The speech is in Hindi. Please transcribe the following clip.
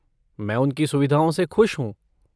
मैं उनकी सुविधाओं से खुश हूँ।